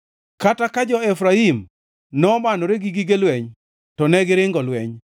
Kata ka jo-Efraim nomanore gi gige lweny, to negiringo lweny.